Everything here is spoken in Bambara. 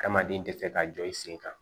Adamaden tɛ se ka jɔ i sen kan